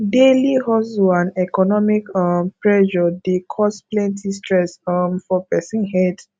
daily hustle and economic um pressure dey cause plenty stress um for pesin head